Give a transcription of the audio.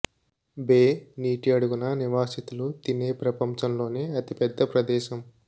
బే నీటి అడుగున నివాసితులు తినే ప్రపంచంలోనే అతి పెద్ద ప్రదేశం